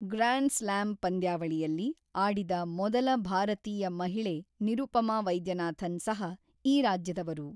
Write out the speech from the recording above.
Grand slam ಪಂದ್ಯಾವಳಿಯಲ್ಲಿ ಆಡಿದ ಮೊದಲ ಭಾರತೀಯ ಮಹಿಳೆ ನಿರುಪಮಾ ವೈದ್ಯನಾಥನ್ ಸಹ ಈ ರಾಜ್ಯದವರು.